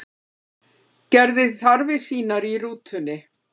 Gerði þarfir sínar í rútunni